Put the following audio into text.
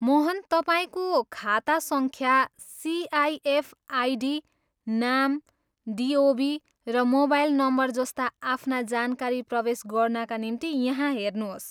मोहन, तपाईँको खाता सङ्ख्या, सिआइएफ आइडी, नाम, डिओबी र मोबाइल नम्बरजस्ता आफ्ना जानकारी प्रवेश गर्नाका निम्ति यहाँ हेर्नुहोस्।